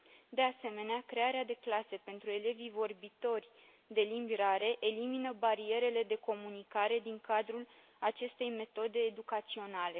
De asemenea, crearea de clase pentru elevii vorbitori de limbi rare elimină barierele de comunicare din cadrul acestei metode educaționale.